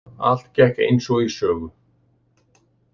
Allt gekk eins og í sögu.